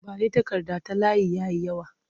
Ba ni takarda ta layi ya yi yawa!